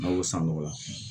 N'a y'o san nɔgɔla